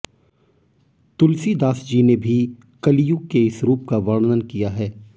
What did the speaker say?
तुलसीदास जी ने भी कलियुग के इस रूप का वर्णन किया है